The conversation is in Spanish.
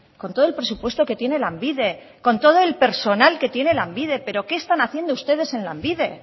con todo el presupuesto que tiene lanbide con todo el personal que tiene lanbide pero qué están haciendo ustedes en lanbide